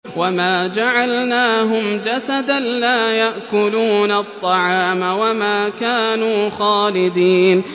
وَمَا جَعَلْنَاهُمْ جَسَدًا لَّا يَأْكُلُونَ الطَّعَامَ وَمَا كَانُوا خَالِدِينَ